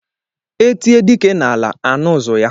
E tie dike n'ala anụ ụzụ ya.